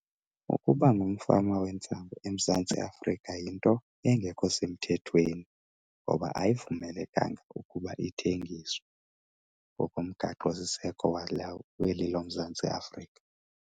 Ukuba ngumfama wentsangu eMzantsi Afrika yinto engekho semthethweni ngoba ayivumelekanga ukuba ithengiswe ngokomgaqosiseko weli loMzantsi Afrika.